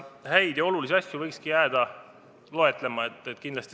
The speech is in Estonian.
Häid ja olulisi asju võikski jääda loetlema.